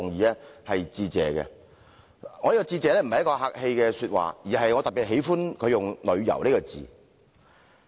我向他致謝，並不是說客氣話，而是我特別喜歡他用"旅遊"這兩個字。